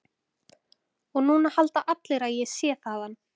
Og núna halda allir að ég sé þaðan.